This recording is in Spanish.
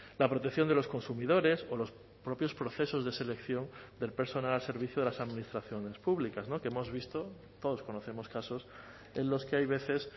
la protección de los consumidores o los propios procesos de selección del personal al servicio de las administraciones públicas que hemos visto todos conocemos casos en los que hay veces